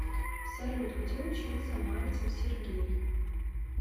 салют где учился мальцев сергей